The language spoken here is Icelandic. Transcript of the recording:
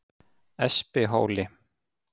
Espihóli